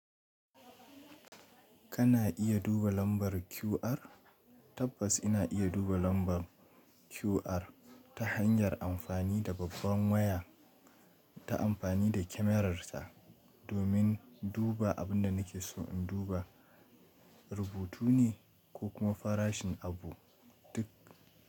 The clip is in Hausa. Kana iya duba lambar QR? Tabbas ina iya duba lambar QR ta hanyar amfani da babban waya, ta amfani da kyamararta domin duba abin da nake so in duba rubutu ne ko kuma farashin abu duk.